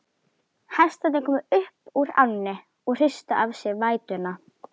Hestarnir komu upp úr ánni og hristu af sér vætuna.